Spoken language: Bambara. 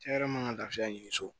Cɛ yɛrɛ man ka lafiya ɲini so